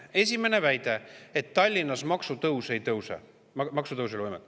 Esimene väide: Tallinnas ei ole maksutõus võimalik.